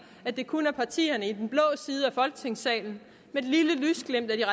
at det kun er partierne i den blå side af folketingssalen med et lille lysglimt af de